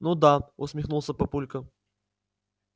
ну да усмехнулся папулька